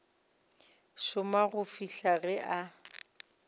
šoma go fihla ge a